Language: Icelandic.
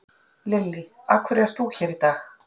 Lillý: Af hverju ert þú hér í dag?